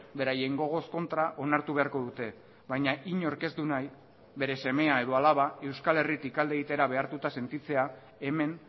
beraien gogoz kontra onartu beharko dute baina inork ez du nahi bere semea edo alaba euskal herritik alde egitera behartuta sentitzea hemen